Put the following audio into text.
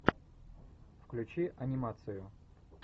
включи анимацию